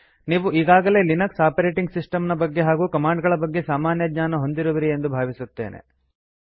ನೀವು ಈಗಾಗಲೇ Linux operating system ನ ಬಗ್ಗೆ ಹಾಗೂ ಕಮಾಂಡ್ ಗಳ ಬಗ್ಗೆ ಸಾಮಾನ್ಯ ಜ್ಞಾನ ಹೊಂದಿರುವಿರಿ ಎಂದು ಭಾವಿಸುತ್ತೇನೆ